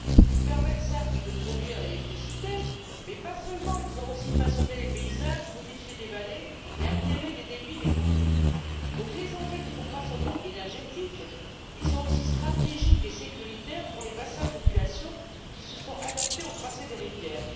Ils permettent, certes, de produire l'électricité, mais pas seulement ils ont aussi façonné les paysages, modifié des vallées et altéré les débits des cours d'eau. Les enjeux ne sont donc pas seulement énergétiques, ils sont aussi stratégiques et sécuritaires pour les bassins de population qui se sont adaptés au tracé des rivières.